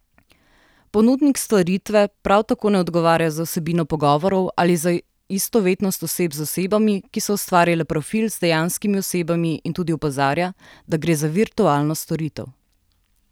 Ponudnik storitve prav tako ne odgovarja za vsebino pogovorov ali za istovetnost oseb z osebami, ki so ustvarile profil, z dejanskimi osebami in tudi opozarja, da gre za virtualno storitev.